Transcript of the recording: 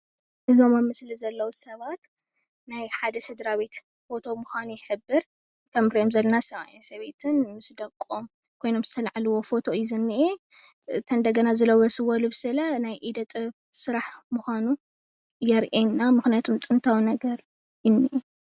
እዞም ኣብ ምስሊ ዘለዉ ሰባት ናይ ሓደ ስድራቤት ፎቶ ምኳኑ ይሕብር። ከም እንሪኦም ዘለና ሰብኣይን ሰበይትን ምስ ደቆም ኮይኖም ዝተላዓልዊ ፎቶ ዝንኤ፡፡ እንደገና ዝለበስዎ ልንሲ ናይ ኢደ ጥበብ ስራሕ ምኳኑ የርእየና፡፡ ምክንያቱ ጥንታዊ ዝኮነ ነገር እዩ ዝንኤ፡፡